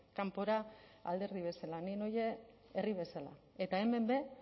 kanpora alderdi bezala ni noa herri bezala eta hemen be